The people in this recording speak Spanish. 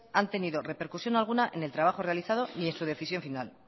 han tenido repercusión alguna en el trabajo realizado ni en su decisión final